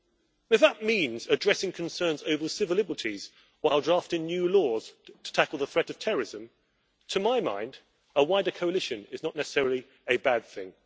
Now if that means addressing concerns over civil liberties while drafting new laws to tackle the threat of terrorism, to my mind a wider coalition is not necessarily a bad thing.